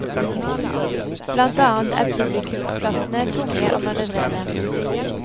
Blant annet er publikumsplassene tunge å manøvrere.